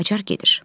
Qacar gedir.